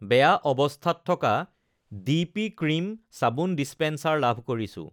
বেয়া অৱস্থাত থকা ডি পি ক্ৰীম চাবোন ডিচপেন্সাৰ লাভ কৰিছোঁ৷